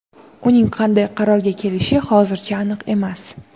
Uning qanday qarorga kelishi hozircha aniq emas.